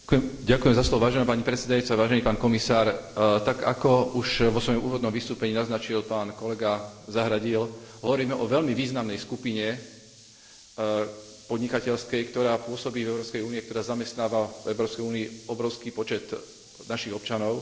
Tak ako už vo svojom úvodnom vystúpení naznačil pán kolega Zahradil, hovoríme o veľmi významnej podnikateľskej skupine, ktorá pôsobí v Európskej únii a ktorá zamestnáva v Európskej únii obrovský počet našich občanov.